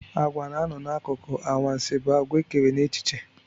Àgwà na-anọ n'akụkọ anwansị bụ àgwà ekere n'echiche.